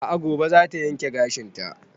A'a gobe za ta yanke gashin ta